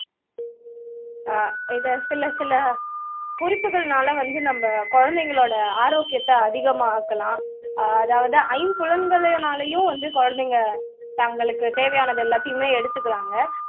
ஆஹ் இதை சில சில குறிப்புகள்னால வந்து நம்ம குழந்தைங்களோட ஆரோக்கியத்தை அதிகமாக்கலாம் அ அதாவது ஐம்புலன்களினாலேயும் வந்து குழந்தைங்க வந்து தங்களுக்கு தேவையான எல்லாத்தையுமே எடுத்துக்குறாங்க